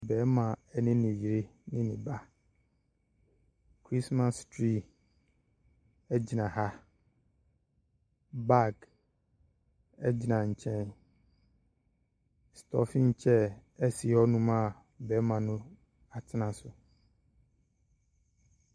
Bɛma ene ne yere ne ne ba kristmas trii egyina ha bag egyina nkyɛn stɔfin kyɛr esi hɔ nom aa bɛɛma no atena so.